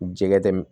Jɛgɛ tɛ